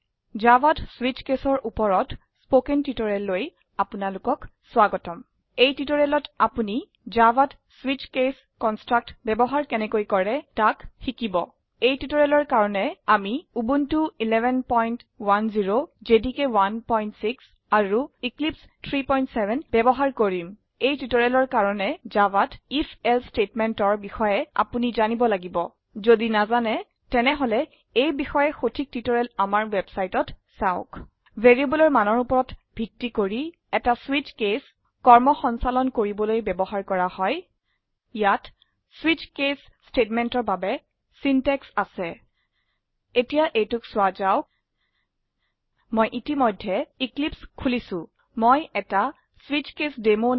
জাভাত স্বিচ কেচ ৰ উপৰত স্পকেন টিউটৰিয়েললৈ আপোনাৰলোকক স্ৱাগতম এই টিউটৰিয়েলত আপোনিজাভাত স্বিচ কেচ কনষ্ট্ৰাক্ট বয়ৱহাৰ কেনেকৈ কৰে তাক শিকিব এই টিউটৰিয়েলৰ কাৰনে আমি উবুনটো 1110 জেডিকে 16 আৰু এক্লিপছে 370 বয়ৱহাৰ কৰিম এই টিউটৰিয়েলটোৰ কাৰনে জাভাত আইএফ এলছে statementৰ বিষয়েআপোনি জানিব লাগিব যদি নাজানে তেনেহলে এই বিষয়ে সঠিক টিউটৰিয়েল আমাৰ ৱেবচাইটত চাওক variableৰ মানৰ ওপৰত ভিত্তি কৰি এটা স্বিচ কেচ কৰ্ম সঞ্চালন কৰিবলৈ বয়ৱহাৰ কৰা যায় ইয়াত স্বিচ কেচ statementৰ বাবে চেন্টেক্চ আছে এতিয়া এইটোক চোৱা যাওক মই ইতিমধেয় এক্লিপছে খোলিছো মই এটা শ্বিচকেছডেমো